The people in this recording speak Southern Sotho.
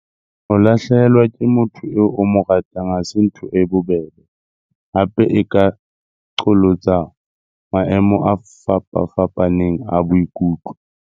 Ho lahlehelwa ke motho eo o mo ratang ha se ntho e bobebe, hape e ka qholotsa maemo a fapafapaneng a boikutlo.